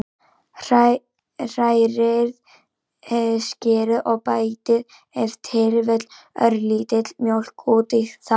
Hrærið skyrið og bætið ef til vill örlítilli mjólk út í það.